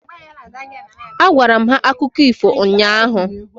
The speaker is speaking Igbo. Agwara m ha akụkọ ifo ụnyaahụ.